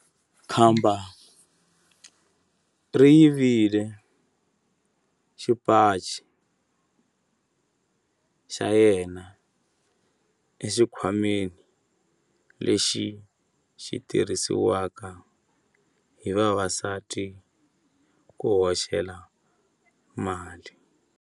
Khamba ri yivile xipaci xa yena exikhwameni lexi xi tirhisiwaka hi vavasati ku hoxela mali.